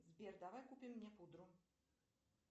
сбер давай купим мне пудру